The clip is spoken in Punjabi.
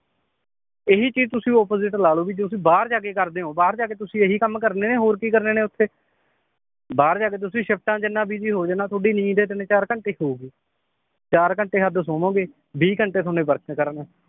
ਇਹੀ ਚੀਜ਼ ਤੁਸੀਂ ਲਾਲੋ ਵੀ ਜੇ ਤੁਸੀਂ ਬਾਹਰ ਜਾ ਕੇ ਕਰਦੇ ਓ ਬਾਹਰ ਜਾ ਕੇ ਤੁਸੀ ਇਹੀ ਕੰਮ ਕਰਨੇ ਏ ਹੋਰ ਕੀ ਕਰਨੇ ਨੇ ਓਥੇ ਬਾਹਰ ਜਾ ਕੇ ਤੁਸੀ ਸ਼ਿਫਟਾਂ ਚ ਇਹਨਾਂ ਹੋਜਾਣਾ ਤੁਹਾਡੀ ਨੀਂਦ ਤਿੰਨ ਚਾਰ ਘੰਟੇ ਈ ਹੋਊਗੀ ਚਾਰ ਘੰਟੇ ਹੱਦ ਸੋਵੋਂਗੇ ਬੀ ਘੰਟੇ ਤੁਹਾਨੂੰ work ਤੇ ਕਰਨ ਨੂੰ